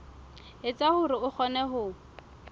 etsa hore a kgone ho